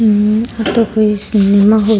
हम्म आ तो कोई सिनेमा हॉल --